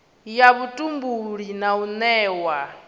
ya vhutumbuli na u newa